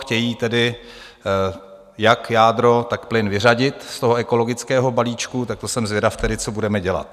Chtějí tedy jak jádro, tak plyn vyřadit z toho ekologického balíčku, tak to jsem zvědav tedy, co budeme dělat.